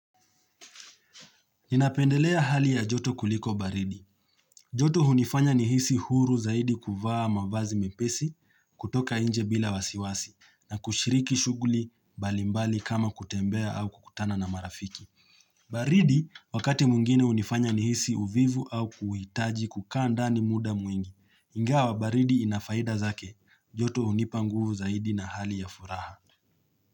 Ninapendelea hali ya joto kuliko baridi. Joto hunifanya nihisi huru zaidi kuvaa mavazi mepesi kutoka nje bila wasiwasi na kushiriki shughuli mbalimbali kama kutembea au kukutana na marafiki. Baridi wakati mwingine hunifanya nihisi uvivu au kuhitaji kukaa ndani muda mwingi. Ingawa baridi inafaida zake. Joto hunipa nguvu zaidi na hali ya furaha.